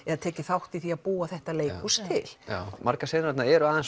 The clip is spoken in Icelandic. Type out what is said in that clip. tekið þátt í því að búa þetta leikhús til margar senurnar eru aðeins